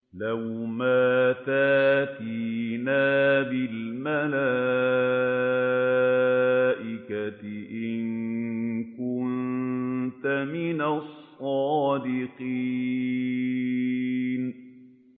لَّوْ مَا تَأْتِينَا بِالْمَلَائِكَةِ إِن كُنتَ مِنَ الصَّادِقِينَ